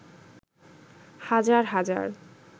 হাজার হাজার